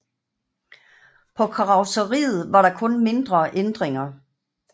På karrosseriet var der kun mindre ændringer